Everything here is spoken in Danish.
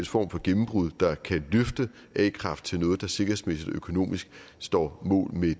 form for gennembrud der kan løfte a kraft til noget der sikkerhedsmæssigt og økonomisk står mål med